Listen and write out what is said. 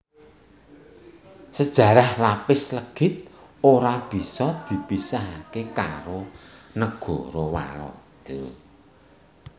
Sejarah lapis legit ora bisa dipisahaké karo negara Walanda